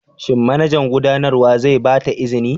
Shin manajan gudanarwa zai ba ta izini?